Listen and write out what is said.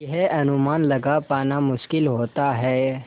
यह अनुमान लगा पाना मुश्किल होता है